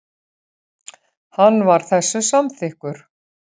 Hann var þessu samþykkur.